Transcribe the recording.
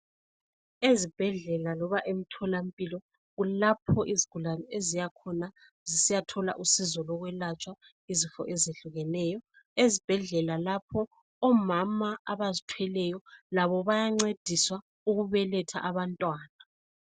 Izibhedlela loba emtholampilo kulapho izigulani eziyakhona zisiyathola usizo lokwelatshwa izifo ezehlukeneyo . Ezibhedlela lapha omama abazithweleyo bayencediswa ukubeletha abantwana.